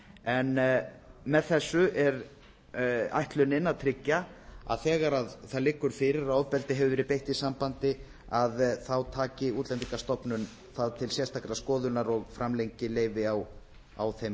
en með þessu er ætlunin að tryggja að þegar það liggur fyrir að ofbeldi hefur verið beitt í sambandi taki útlendingastofnun það til sérstakrar skoðunar og framlengi leyfi á þeim